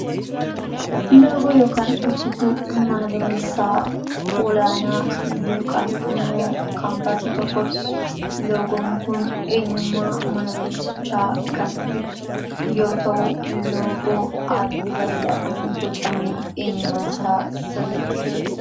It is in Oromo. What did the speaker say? Loogoo yookaan ibsituu mana barumsaa ol'aanaa yookaan immoo kaampaasii tokkooti. Loogoon kun eenyummaa mana barumsichaa kan ibsu yoo ta'u, loogoo haalluu bareedaadhaan bocamee eenyummaasaa sirriitti ibsudha.